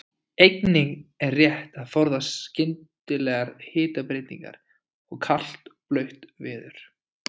Einnig er rétt að forðast skyndilegar hitabreytingar og kalt og blautt veður.